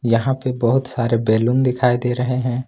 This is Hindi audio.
यहां पे बहुत सारे बैलून दिखाई दे रहे हैं।